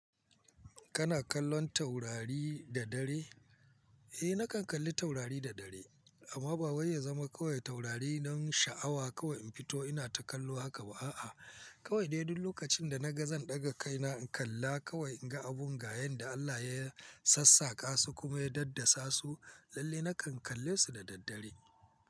Kana kallon taurari da dare? Eh, nakan kalli taurari da dare amma ba wai ya zama kowace taurari nan sha'awa kawai in fito ina ta kallo haka ba'a. Kawai dai duk lokacin da na ga zan ɗaga kaina in kalla kawai in ga abin gaya yanda Allah ya sassaƙa su kuma ya daddasa su, lalle nakan kalle su da daddare.